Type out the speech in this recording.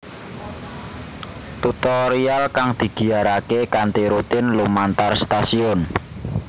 Tutorial kang digiyarake kanthi rutin lumantar stasiun